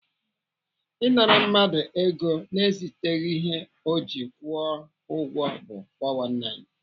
Ị nara mmadụ ego na-eziteghị ihe ọ ji kwụọ ụgwọ bụ 419.